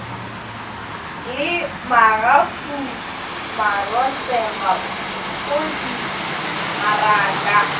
le magapu marotse mafodi maraka